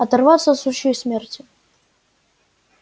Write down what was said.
оторваться от сучьей смерти